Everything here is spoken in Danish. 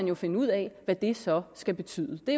jo finde ud af hvad det så skal betyde det